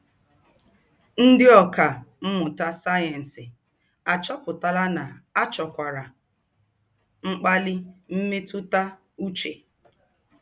Ndị ọkà mmụta sayensị achọpụtala na a chọkwara mkpali mmetụta uche.